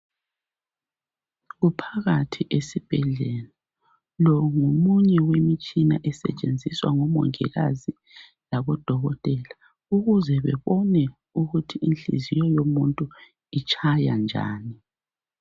Kuphakathi esibhedlela lo ngomunye wemitshina esetshenziswa ngomongikazi labo dokotela ukuze bebone ukuthi inhliziyo yomuntu itshaya njani